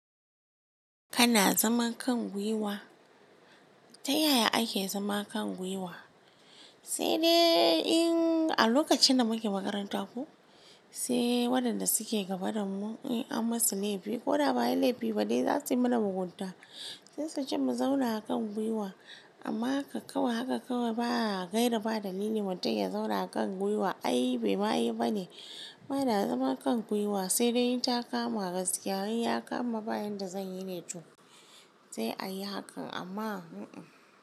Kana zaman kan gwiwa? Ta yaya ake zama kan gwiwa? Sai dai in a lokacin da muke makaranta ko, sai waɗanda suke gaba da mu in an masu laifi ko da ba ayi laifi ba dai za su yi mana mugunta, sai suce mu zauna a kan gwiwa. Amma haka kawai haka kawai ba a gaida ba dalili mutum ya zauna a kan gwiwa ai bai ma yi bane. Bana zaman kan gwiwa sai dai in ta kama gaskiya. In yakama bayan da zan yi ne to, sai a yi hakan amma hmm-mm.